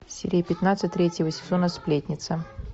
серия пятнадцать третьего сезона сплетница